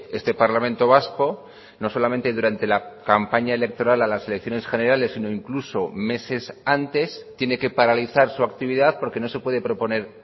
este parlamento vasco no solamente durante la campaña electoral a las elecciones generales sino incluso meses antes tiene que paralizar su actividad porque no se puede proponer